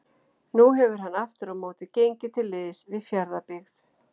Nú hefur hann aftur á móti gengið til liðs við Fjarðabyggð.